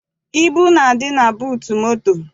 Ibu na-adị na buutu moto.